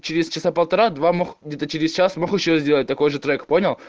через часа полтора-два где-то через час могу сделать такой же трек понял